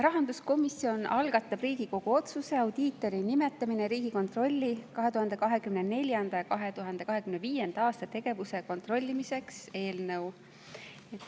Rahanduskomisjon algatab Riigikogu otsuse "Audiitori nimetamine Riigikontrolli 2024.–2025. aasta tegevuse kontrollimiseks" eelnõu.